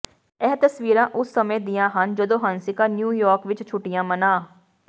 ਇਹ ਤਸਵੀਰਾਂ ਉਸ ਸਮੇਂ ਦੀਆਂ ਹਨ ਜਦੋਂ ਹੰਸਿਕਾ ਨਿਊਯਾਰਕ ਵਿੱਚ ਛੁੱਟੀਆਂ ਮਨਾ